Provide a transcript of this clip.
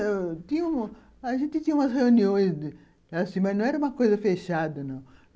Tinha... A gente tinha umas reuniões, assim, mas não era uma coisa fechada, não.